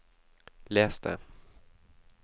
les det